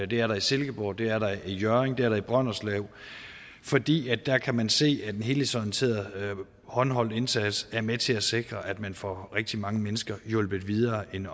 det er der i silkeborg det er der i hjørring og det er der i brønderslev fordi der kan man se at den helhedsorienterede håndholdte indsats er med til at sikre at man får rigtig mange mennesker hjulpet videre end